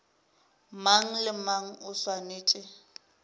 mang le mang o swanetše